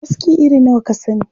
Aska iri nawa ka sani?